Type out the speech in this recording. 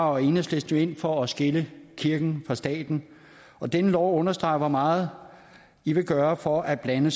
og enhedslisten jo ind for at skille kirken fra staten og denne lov understreger hvor meget i vil gøre for at blande